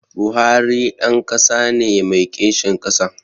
Buhari ɗan ƙasa ne mai kishin ƙasa